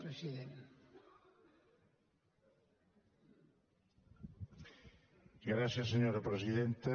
gràcies senyora presidenta